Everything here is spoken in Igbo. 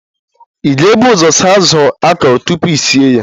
Ị ga-ebu ụzọ saa azụ akọrọ tupu I sie ya